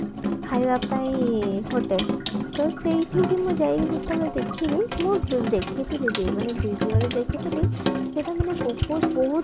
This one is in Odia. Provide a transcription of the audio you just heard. ଖାଇବା ପାଇଁ hotel ତ ସେଇଠିକି ମୁଁ ଯାଇକି ଯେତେବେଳେ ଦେଖିଲି ମୁଁ ଦେଖିଥିଲି ବି ମାନେ video ରେ ଦେଖିଥିଲି ସେଟା ମାନେ ବହୁତ ବହୁତ